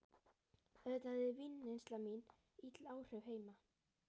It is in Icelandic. Auðvitað hafði vínneysla mín ill áhrif heima.